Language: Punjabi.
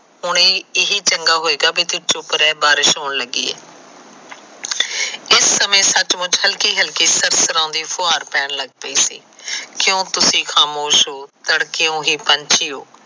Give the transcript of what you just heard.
ਉਹ ਇਹੀ ਚੰਗਾ ਰਹੇਗਾ ਕਿ ਤੂੰ ਚੂਪ ਰਹਿ ਬਾਰਿਸ਼ ਹੋਣ ਲੱਗੀ ਏ ਇਸ ਸਮੇ ਸੱਚ ਮੁਚ ਹਲਕੀ ਹਲਕੀ ਪੈਣ ਲੱਗ ਪਈ ਸੀ ਕਿਉ ਤੂਸੀ ਖਾਮੋਸ਼ ਹੋ